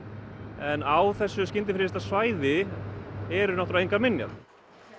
en á þessu svæði eru náttúrlega engar minjar